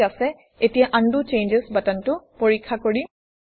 ঠিক আছে এতিয়া উণ্ড চেঞ্জছ বাটনটো পৰীক্ষা কৰিম